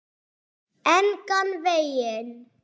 Engan veginn.